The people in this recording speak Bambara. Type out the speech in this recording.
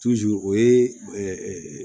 o ye